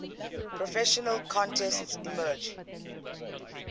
professional contests emerged